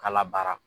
K'a la baara